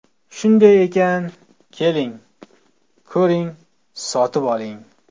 Shunday ekan, keling, ko‘ring, sotib oling!